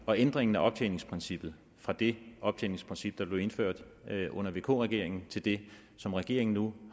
og ændringen af optjeningsprincippet fra det optjeningsprincip der blev indført under vk regeringen til det som regeringen nu